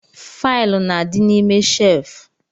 Faịlụ na-adi n'ime shelfu